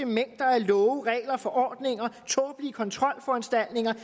mængder af love regler og forordninger tåbelige kontrolforanstaltninger